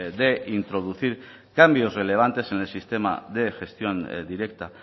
de introducir cambios relevantes en el sistema de gestión directa